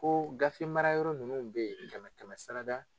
Ko gafe mara yɔrɔ ninnu bɛ ye kɛmɛ kɛmɛ sara da.